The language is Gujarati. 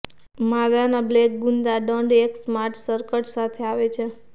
માદાના બ્લેક ગુદા દંડ એક સ્માર્ટ સ્કર્ટ સાથે આવે છે